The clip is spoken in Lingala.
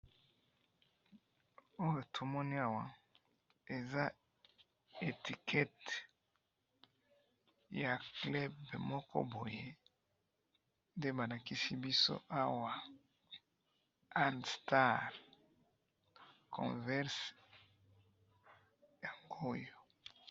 Awa tomoni awa eza etiquette ya club moko boye nde balakisi biso awa All Star Converse yang'oyo